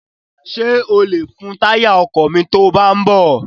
Ṣé o lè fun táyà ọkọ̀ yìí to bá ń bọ̀?